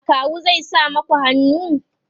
akawu zai sa maku hannu?